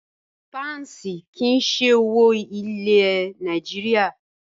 Páǹsì kí í ṣe owó ilẹ̀ Nàìjíríà.